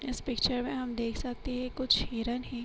इस पिक्‍चर में हम देख सकते है कुछ हिरण हैं।